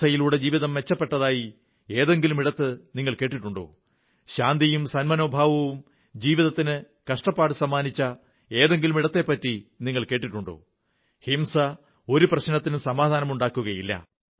ഹിംസയിലൂടെ ജീവിതം മെച്ചപ്പെട്ടതായ ഏതെങ്കിലും ഇടത്തെപ്പറ്റി നിങ്ങൾ കേട്ടിട്ടുണ്ടോ ശാന്തിയും സന്മനോഭാവവും ജീവിതത്തിന് കഷ്ടപ്പാടു സമ്മാനിച്ച ഏതെങ്കിലും ഇടത്തെപ്പറ്റി നിങ്ങൾ കേട്ടിട്ടുണ്ടോ ഹിംസ ഒരു പ്രശ്നത്തിനും സമാധാനമുണ്ടാക്കുന്നില്ല